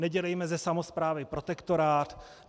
Nedělejme ze samosprávy protektorát.